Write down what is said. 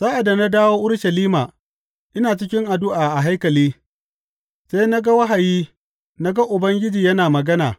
Sa’ad da na dawo Urushalima ina cikin addu’a a haikali, sai na ga wahayi na ga Ubangiji yana magana.